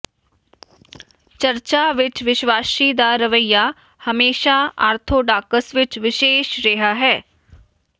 ਚਰਚਾਂ ਵਿਚ ਵਿਸ਼ਵਾਸੀ ਦਾ ਰਵੱਈਆ ਹਮੇਸ਼ਾ ਆਰਥੋਡਾਕਸ ਵਿਚ ਵਿਸ਼ੇਸ਼ ਰਿਹਾ ਹੈ